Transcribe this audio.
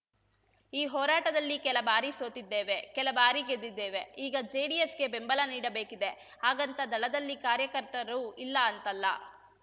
ಈ ಹೋರಾಟದಲ್ಲಿ ಕೆಲ ಬಾರಿ ಸೋತಿದ್ದೇವೆ ಕೆಲ ಬಾರಿ ಗೆದ್ದಿದ್ದೇವೆ ಈಗ ಜೆಡಿಎಸ್‌ಗೆ ಬೆಂಬಲ ನೀಡಬೇಕಿದೆ ಹಾಗಂತ ದಳದಲ್ಲಿ ಕಾರ್ಯಕರ್ತರು ಇಲ್ಲ ಅಂತಲ್ಲ